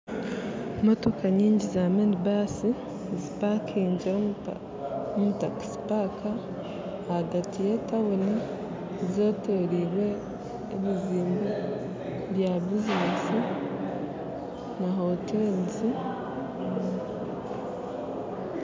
Nindeeba motoka nyingi zaaminibaasi omutakisi paaka ahagati y'etauni zetoreirwe ebiziimbe bya bizinensi na hoteeri